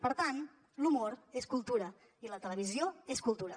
per tant l’humor és cultura i la televisió és cultura